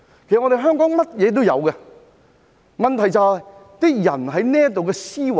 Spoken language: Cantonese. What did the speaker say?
其實，香港甚麼也有，問題在於我們的思維。